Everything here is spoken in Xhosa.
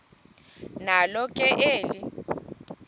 nalo ke eli